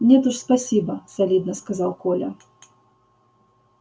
нет уж спасибо солидно сказал коля